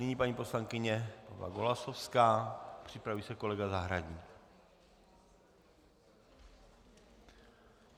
Nyní paní poslankyně Pavla Golasowská, připraví se kolega Zahradník.